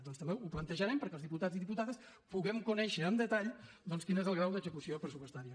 doncs també ho plantejarem perquè els diputats i diputades puguem conèixer amb detall doncs quin és el grau d’execució pressupostària